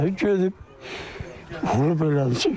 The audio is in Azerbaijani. Gedib vurub elə.